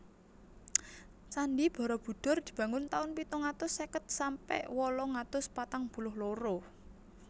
Candhi Barabudhur dibangun taun pitung atus seket sampe wolung atus patang puluh loro